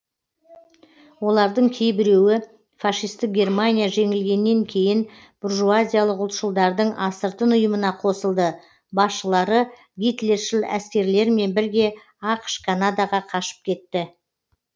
олардың кейбіреуі фашистік германия жеңілгеннен кейін буржуазиялық ұлтшылдардың астыртын ұйымына қосылды басшылары гитлершіл әскерлермен бірге ақш канадаға қашып кетті